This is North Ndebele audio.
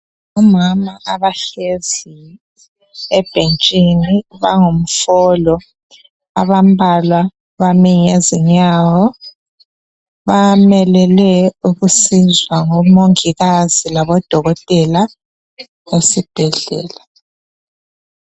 Omama abahlezi ebhentshini bangumfolo abambalwa bame ngezinyawo bamelele ukuncedwa ngomongikazi labodokotela esibhedlela.